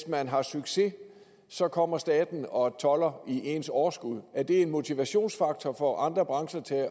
man har succes så kommer staten og tolder i ens overskud er det en motivationsfaktor for andre brancher til at